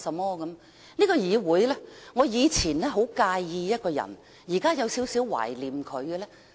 在這個議會，我以前很介意一個人，但現在有一點懷念他。